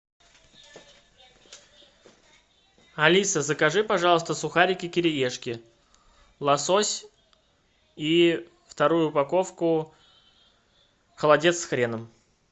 алиса закажи пожалуйста сухарики кириешки лосось и вторую упаковку холодец с хреном